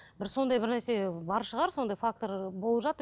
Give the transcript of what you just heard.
бір сондай бір нәрсе бар шығар сондай фактор болып жатыр